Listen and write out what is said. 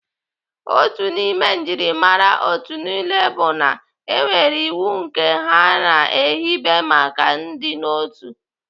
Otu n'ime njimara otu niile bụ na enwere iwu nke ha na-ehibe maka ịdịnotu.